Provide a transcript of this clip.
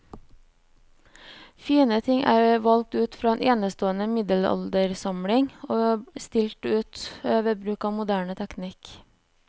Fine ting er valgt ut fra en enestående middelaldersamling og stilt ut ved bruk av moderne teknikk.